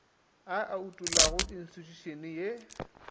a e utollelago institšhušene e